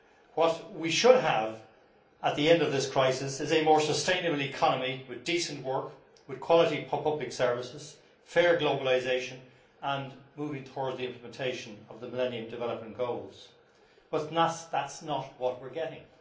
What we should have at the end of this crisis is a more sustainable economy with decent work, with quality public services and fair globalisation, moving towards the implementation of the Millennium Development Goals. But that is not what we are getting.